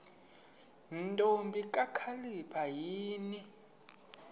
ntombi kakhalipha yini